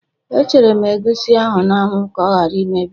E chere m egusi ahụ n'anwu ka ọ ghara imebi